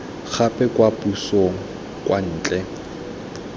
gape kwa pusong kwa ntle